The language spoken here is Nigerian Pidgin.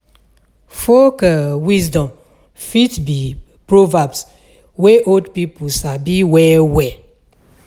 Folk wisdom fit be proverbs wey old pipo sabi well well